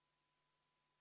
V a h e a e g